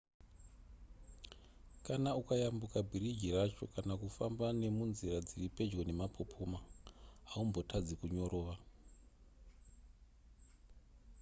kana ukayambuka bhiriji racho kana kufamba nemunzira dziri pedyo nemapopoma haumbotadzi kunyorova